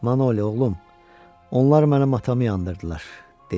Manoli, oğlum, onlar mənim matamı yandırdılar, dedi.